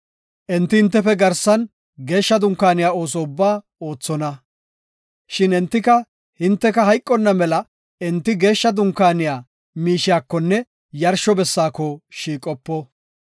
Enti hintefe garsan geeshsha dunkaaniya ooso ubbaa oothonna; shin entika hinteka hayqonna mela enti geeshsha dunkaaniya miishiyakonne yarsho bessaako shiiqopo.